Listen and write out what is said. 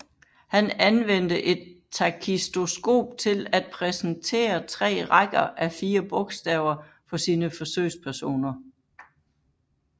Han anvendte et takistoskop til at præsentere tre rækker af fire bogstaver for sine forsøgspersoner